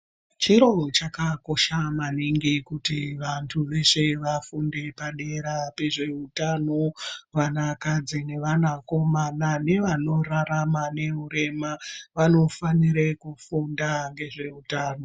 Chiro chakakosha maningi kuti vantu veshe vafunde padera pezvehutano. Vana kadzi nevana komana nevanorarama nehurema vanofanire kufunda ngezveutano.